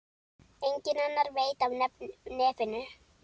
Enginn annar veit af nefinu.